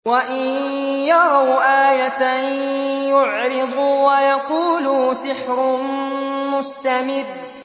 وَإِن يَرَوْا آيَةً يُعْرِضُوا وَيَقُولُوا سِحْرٌ مُّسْتَمِرٌّ